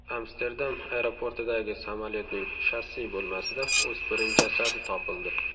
Amsterdam aeroportidagi samolyotning shassi bo‘lmasida o‘spirin jasadi topildi.